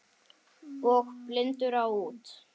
Og blindur á út.